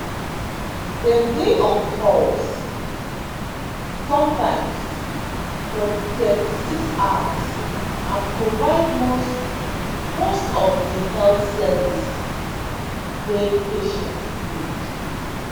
dem dey on call sometimes for 36 hours and provide most most of di health services wey patients need